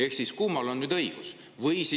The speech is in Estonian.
Ehk siis kummal on nüüd õigus?